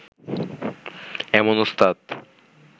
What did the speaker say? এমন ওস্তাদ